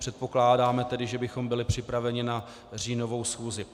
Předpokládáme tedy, že bychom byli připraveni na říjnovou schůzi.